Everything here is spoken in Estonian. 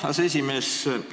Aseesimees!